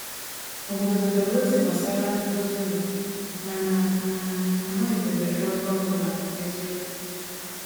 Obodo natara ozi gbasara ndozi ụlọ, mana um a malitebeghị ọrụ ọ bụla n’eziokwu.